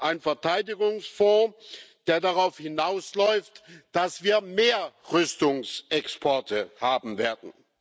Ein Verteidigungsfonds, der darauf hinausläuft, dass wir mehr Rüstungsexporte haben werden.